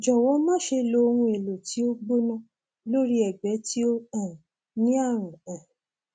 jọwọ máṣe lo ohun èlò tí ó gbóná lórí ẹgbẹ tí ó um ní ààrùn um